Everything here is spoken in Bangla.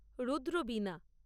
রুদ্র বীনা